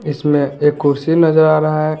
इसमें एक कुर्सी नजर आ रहा है।